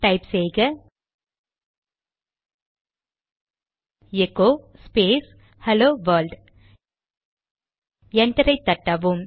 type செய்க echo space hello world என்டரை தட்டவும்